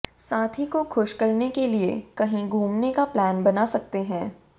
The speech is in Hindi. साथी को खुश करने के लिए कहीं घूमने का प्लान बना सकते है